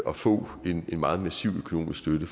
at få en meget massiv økonomisk støtte